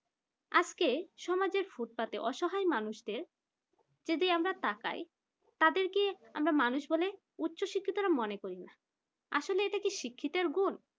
আজকে সমাজের ফুটপাতে অসহায় মানুষদের যদি আমরা তাকাই তাদেরকে আমরা মানুষ বলে উচ্চ শিক্ষিতরা মনে করি না আসলে এটা কি শিক্ষিতের গুণ